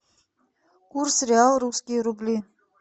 курс реал русские рубли